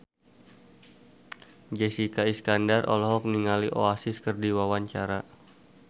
Jessica Iskandar olohok ningali Oasis keur diwawancara